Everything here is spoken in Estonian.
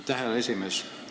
Aitäh, härra esimees!